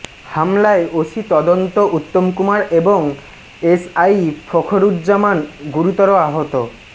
হামলায় ওসি তদন্ত উত্তম কুমার এবং এসআই ফখরুজ্জামান গুরুতর আহত